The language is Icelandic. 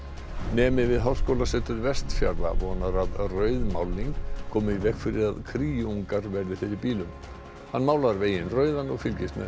nemi við Háskólasetur Vestfjarða vonar að rauð málning komi í veg fyrir að verði fyrir bílum hann málar veginn rauðan og fylgist með